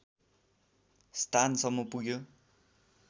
स्थानसम्म पुग्यो